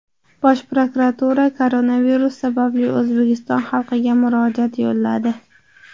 Bosh prokuratura koronavirus sababli O‘zbekiston xalqiga murojaat yo‘lladi.